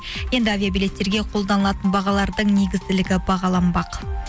енді авиабилеттерге қолданылатын бағалардың негізділігі бағаланбақ